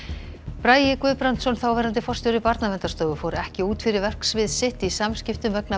bragi Guðbrandsson þáverandi forstjóri Barnaverndarstofu fór ekki út fyrir verksvið sitt í samskiptum vegna